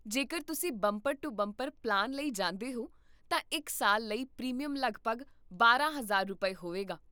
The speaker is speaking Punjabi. ਜੇਕਰ ਤੁਸੀਂ ਬੰਪਰ ਟੂ ਬੰਪਰ ਪਲਾਨ ਲਈ ਜਾਂਦੇ ਹੋ, ਤਾਂ ਇੱਕ ਸਾਲ ਲਈ ਪ੍ਰੀਮੀਅਮ ਲਗਭਗ ਬਾਰਾਂ ਹਜ਼ਾਰ ਰੁਪਏ, ਹੋਵੇਗਾ